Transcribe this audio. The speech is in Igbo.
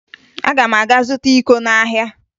Aga m aga zụta iko n'ahịa